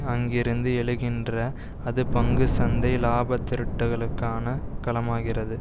அங்கிருந்து எழுகின்ற அது பங்கு சந்தை இலாபத்திரட்டலுக்கான களமாகிறது